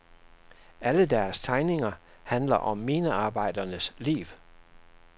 Alle deres tegninger handler om minearbejdernes liv.